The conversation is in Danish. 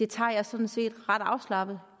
tager jeg sådan set ret afslappet